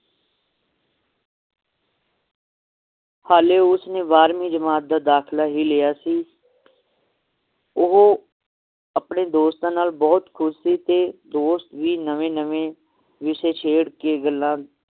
ਹੱਲੇ ਉਸਨੇ ਬਾਰ੍ਹਵੀਂ ਜਮਾਤ ਦਾ ਦਾਖਲਾ ਹੀ ਲਿਆ ਸੀ ਉਹ ਆਪਣੇ ਦੋਸਤਾਂ ਨਾਲ ਬਹੁਤ ਖੁਸ਼ ਸੀ ਤੇ ਦੋਸਤ ਵੀ ਨਵੇਂ ਨਵੇਂ ਵਿਸ਼ੇ ਛੇੜ ਕੇ ਗੱਲਾਂ